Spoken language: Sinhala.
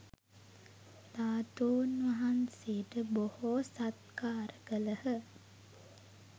ධාතූන් වහන්සේට බොහෝ සත්කාර කළහ